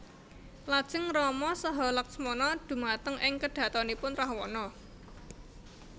Lajeng Rama saha Laksmana dhumateng ing kedhatonipun Rahwana